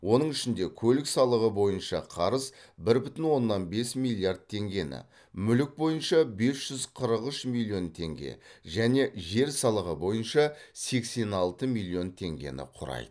оның ішінде көлік салығы бойынша қарыз бір бүтін онаннан бес миллиард теңгені мүлік бойынша бес жүз қырық үш миллион теңге және жер салығы бойынша сексен алты миллион теңгені құрайды